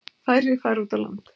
Færri fara út á land.